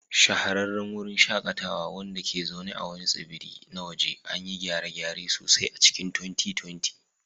Shahararran wurin shakatawa, wanda ke zaune a wani tsibiri na waje, an yi gyare-gyare sosai a cikin 2020.